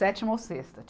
Sétima ou sexta.